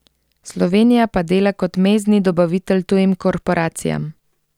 Slovenija pa dela kot mezdni dobavitelj tujim korporacijam.